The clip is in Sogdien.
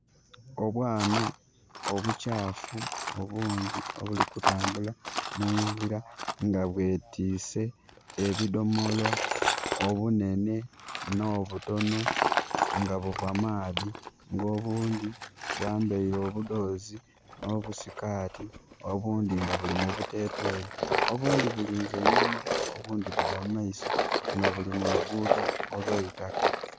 Obwana obukyafu obungi obuli kutambula mu ngira nga bwetiise ebidhomolo, obunhenhe n'obutono nga buva maadhi. Nga obundhi bwambaire obudhozi n'obusikaati obundhi nga buli mu buteteeyi obundhi bulinze inhuma obundhi bugya mu maiso nga buli mu lugudho olw'eitaka.